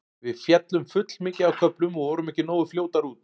Við féllum full mikið á köflum og vorum ekki nógu fljótar út.